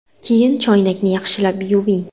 Keyin choynakni yaxshilab yuving.